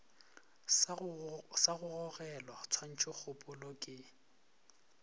sa go bogelwa tshwantšhokgopolo ke